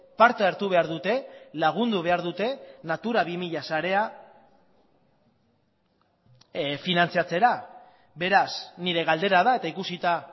parte hartu behar dute lagundu behar dute natura bi mila sarea finantzatzera beraz nire galdera da eta ikusita